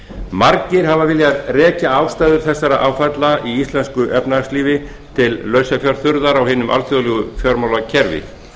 margir hafa viljað rekja ástæður þessara áfalla í íslensku efnahagslífi til lausafjárþurrðar í hinu alþjóðlega fjármálakerfi